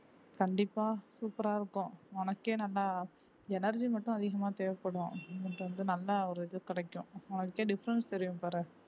கண்டிப்பா சூப்பரா இருக்கும் உனக்கே நல்லா energy மட்டும் அதிகமா தேவைப்படும் நல்ல ஒரு இது கிடைக்கும் உனக்கே difference தெரியும் பாரு